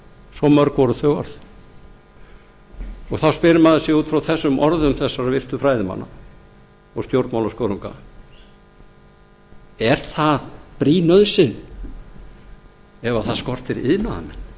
svo mörg voru þau orð þá spyr maður sig út frá þessum orðum þessara virtu fræðimanna og stjórnmálaskörunga er það brýn nauðsyn ef það skortir iðnaðarmenn